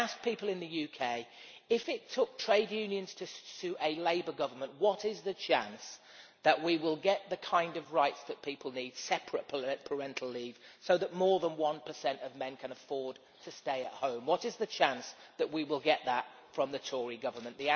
I ask people in the UK if it took trade unions to sue a Labour Government, what is the chance that we will get the kind of rights that people need separate parental leave so that more than one percent of men can afford to stay at home what is the chance that we will get that from the Tory Government?